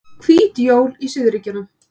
Hvít jól í suðurríkjunum